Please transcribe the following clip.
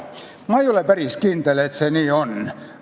Ma ei ole päris kindel, et see nii on.